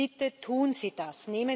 Bitte tun Sie das!